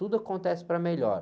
Tudo acontece para melhor.